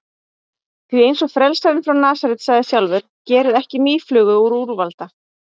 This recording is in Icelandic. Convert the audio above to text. Því, eins og frelsarinn frá Nasaret sagði sjálfur: Gerið ekki mýflugu úr úlfalda.